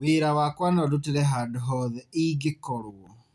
Wĩra wakwa no ndutĩre handũ hothe ingĩkorwo.